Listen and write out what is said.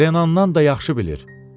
Renandan da yaxşı bilir.